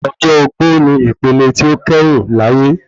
Ọjọ́ ogbó ni ipele tí ó kẹ́yìn láyé